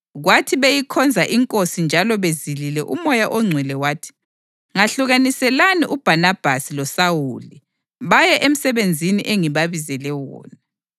Kwathi beyikhonza iNkosi njalo bezilile uMoya oNgcwele wathi, “Ngahlukaniselani uBhanabhasi loSawuli baye emsebenzini engibabizele wona.”